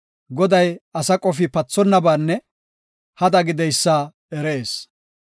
Goday asa qofi pathonnabaanne hada gideysa erees.